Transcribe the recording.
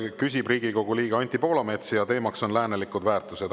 Küsib Riigikogu liige Anti Poolamets ja teemaks on läänelikud väärtused.